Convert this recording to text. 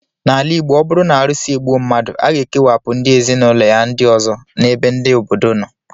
N'ala Igbo, ọ bụrụ na arụsị egbuo mmadụ, a ga-ekewapụ ndị ezinụlọ ya ndị ọzọ n' ebe ndị obodo nọ